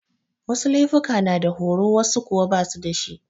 Wasu laifuka na da horo wasu kuwa basu dashi.